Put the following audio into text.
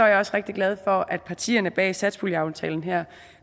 jeg også rigtig glad for at partierne bag satspuljeaftalen her